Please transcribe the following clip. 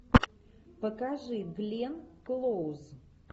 покажи гленн клоуз